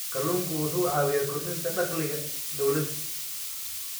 Kalluunku wuxuu caawiyaa kordhinta dakhliga dawladda.